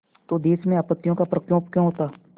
तो देश में आपत्तियों का प्रकोप क्यों होता